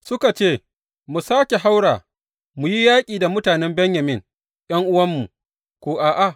Suka ce, Mu sāke haura mu yi yaƙi da mutanen Benyamin ’yan’uwanmu, ko a’a?